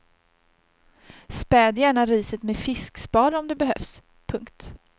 Späd gärna riset med fiskspad om det behövs. punkt